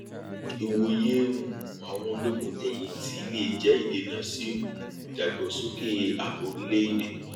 ìwòye um àwọn ológun tẹyìn tì lè jẹ ìdènà sí um ìdàgbàsókè ààbò orílẹèdè